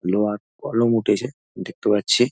লোহার কলম উঠেছে দেখতে পাচ্ছি।